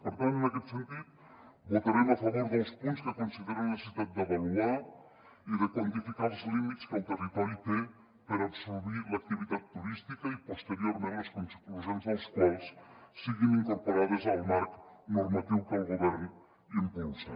per tant en aquest sentit votarem a favor dels punts que consideren la necessitat d’avaluar i de quantificar els límits que el territori té per absorbir l’activitat turística i posteriorment les conclusions dels quals siguin incorporades al marc normatiu que el govern impulsa